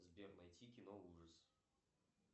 сбер найти кино ужас